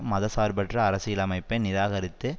மதசார்பற்ற அரசியலமைப்பை நிராகரித்து